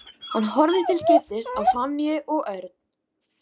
Hann horfði til skiptis á Sonju og Örn.